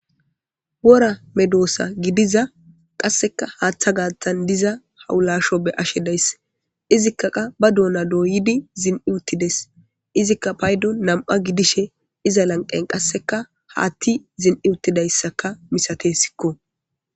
wora medoosa gidiza qasseka haaththa gaathtan diza hawulasho be ashe daysse izikkaqa ba duona dooyidi zin7iuttides izikka paydo nam7a gidishe iza lanqen qasseka haatti zin7iuttidayssaka misate sikko